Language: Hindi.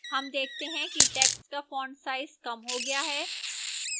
हम देखते हैं कि text का font size कम हो गया है